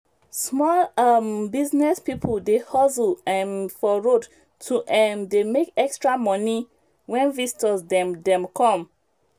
small um business people dey hustle um for road to um dey make extra money when visitors dem dem come.